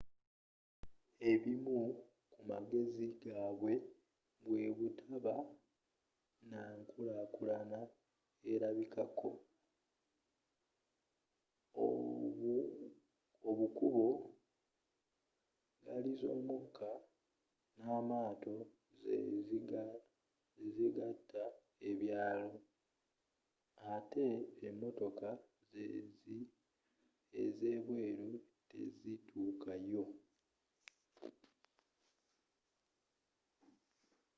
ebimu ku magezi gabwe bwebutaba n'ankulakulana erabikibwako obukubo ggaaliz'omukka n'amaato zezigata ebyalo ate emotoka ezebweru tezituuka yo